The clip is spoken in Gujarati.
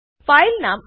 file name chloroethane Ather